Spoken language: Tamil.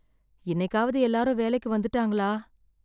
இன்னைக்காவது எல்லாரும் வேலைக்கு வந்துட்டாங்களா?